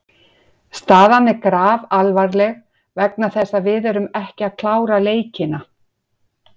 Staðan er grafalvarleg vegna þess að við erum ekki að klára leikina.